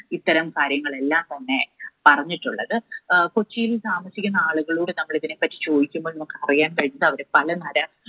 ഇത്തരം കാര്യങ്ങൾ എല്ലാം തന്നെ പറഞ്ഞിട്ടുള്ളത്. അഹ് കൊച്ചിയിൽ താമസിക്കുന്ന ആളുകളോട് നമ്മൾ ഇതിനെ പറ്റി ചോദിക്കുമ്പോൾ നമുക്ക് അറിയാൻ കഴിഞ്ഞത് അവർ പല തര